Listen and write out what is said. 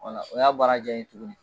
Wala, o y'a baara diaya n ye tuguni.